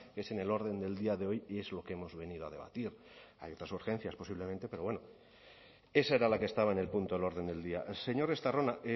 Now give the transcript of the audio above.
es en el orden del día de hoy y es lo que hemos venido a debatir hay otras urgencias posiblemente pero bueno esa era la que estaba en el punto del orden del día señor estarrona